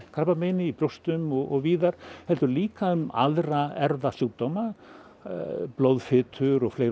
krabbameini í brjóstum og víðar heldur líka um aðra erfðasjúkdóma blóðfitur og fleira